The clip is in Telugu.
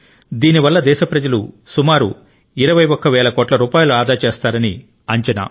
దీనివల్ల దేశ ప్రజలు సుమారు 21 వేల కోట్ల రూపాయలు ఆదా చేస్తారని అంచనా